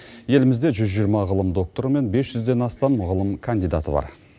елімізде жүз жиырма ғылым докторы мен бес жүзден астам ғылым кандидаты бар